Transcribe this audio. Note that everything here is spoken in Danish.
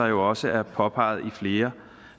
jo også er påpeget i flere